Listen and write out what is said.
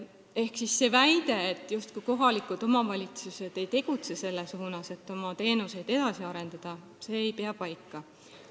Ehk väide, justkui kohalikud omavalitsused ei tegutseks selles suunas, et oma teenuseid edasi arendada, ei pea paika.